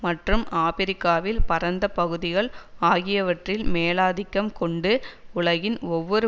மற்றும் ஆபிரிக்காவில் பரந்த பகுதிகள் ஆகியவற்றில் மேலாதிக்கம் கொண்டு உலகின் ஒவ்வொரு